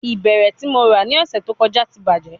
Ibẹrẹ ti Mo ra ni ọsẹ to kọja ti bajẹ